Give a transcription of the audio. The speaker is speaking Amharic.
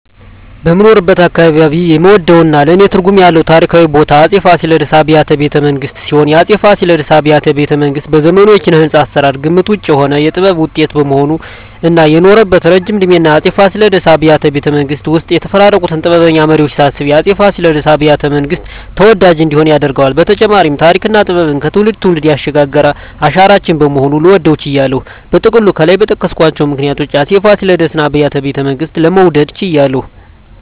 በምኖርበት አካባባቢ የምወደውና ለኔ ትርጉም ያለው ታሪካዊ ቦታ የአፄ ፋሲለደስ አብያተ ቤተመንግስት ሲሆን፣ የአፄ ፋሲለደስ አብያተ ቤተመንግስት በዘመኑ የኪነ-ህንጻ አሰራር ግምት ውጭ የሆነ የጥበብ ውጤት በመሆኑ እና የኖረበት እረጅም እድሜና የአፄ ፋሲለደስ አብያተ ቤተመንግስት ውስጥ የተፈራረቁትን ጥበበኛ መሪወች ሳስብ የአፄ ፋሲለደስ አብያተ- መንግስት ተወዳጅ እንዲሆን ያደርገዋል በተጨማሪም ተሪክና ጥበብን ከትውልድ ትውልድ ያሸጋገረ አሻራችን በመሆኑ ልወደው ችያለሁ። በጥቅሉ ከላይ በጠቀስኳቸው ምክንያቶች የአፄ ፋሲለደስ አብያተ ቤተመንግስትን ለመውደድ ችያለሁ